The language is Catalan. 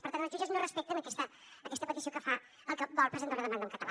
per tant els jutges no respecten aquesta petició que fa el que vol presentar una demanda en català